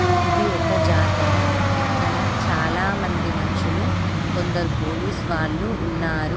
ఇది ఒక జాతర ఇక్కడ చాలామంది మనుషులు కొందరు పోలీస్ వాళ్ళు ఉన్నారు.